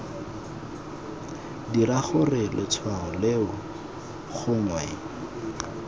dira gore letshwao leo gongwe